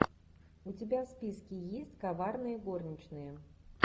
у тебя в списке есть коварные горничные